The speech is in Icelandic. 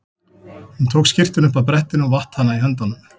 Hún tók skyrtuna upp af brettinu og vatt hana í höndunum.